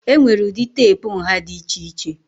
Enwere ụdị teepu nha dị iche iche.